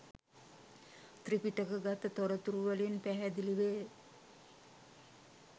ත්‍රිපිටකගත තොරතුරුවලින් පැහැදිලි වේ.